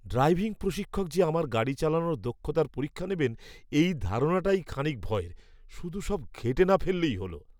Driving প্রশিক্ষক যে আমার গাড়ি চালানোর দক্ষতার পরীক্ষা নেবেন এই ধারণাটাই খানিক ভয়ের। শুধু সব ঘেঁটে না ফেললেই হলো।